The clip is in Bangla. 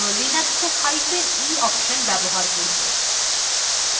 for জন্য আমরা linux ee hyphen e option ব্যবহার করব